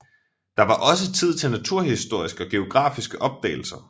Der var også tid til naturhistoriske og geografiske opdagelser